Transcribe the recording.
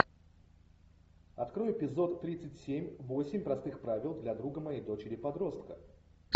открой эпизод тридцать семь восемь простых правил для друга моей дочери подростка